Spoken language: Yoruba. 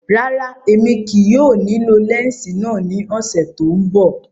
Rárá, Emi kii yóò nilo lẹnsi náa ni ọsẹ to nbọ.